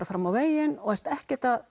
fram á veginn og ert ekki